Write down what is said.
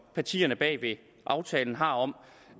partierne bag aftalen har om